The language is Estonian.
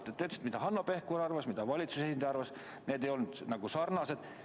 Te ütlesite, mida Hanno Pevkur arvas ja mida valitsuse esindaja arvas – need ei olnud päris sarnased arvamused.